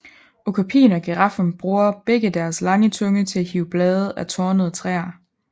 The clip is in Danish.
Okapien og giraffen bruger begge deres lange tunge til at hive blade af tornede træer